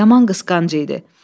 Yaman qısqanc idi.